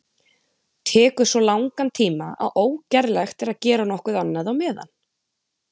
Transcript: Tekur svo langan tíma að ógerlegt er að gera nokkuð annað á meðan.